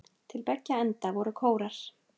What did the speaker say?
Til beggja enda voru kórar.